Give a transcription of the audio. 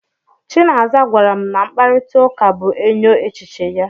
Chinaza gwara m na mkparịtaụka bụ enyo echiche ya.